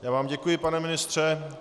Já vám děkuji, pane ministře.